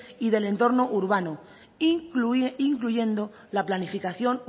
y del entorno urbano incluyendo la planificación